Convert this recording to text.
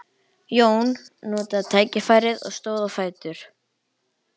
Jón notaði tækifærið og stóð á fætur.